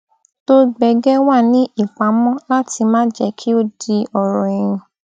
tó gbẹgẹ wà ní ìpamó láti má jẹ kí ó di ọrọ ẹyìn